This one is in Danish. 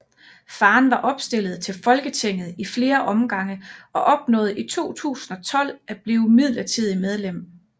Faren var opstillet til Folketinget i flere omgange og opnåede i 2012 at blive midlertidig medlem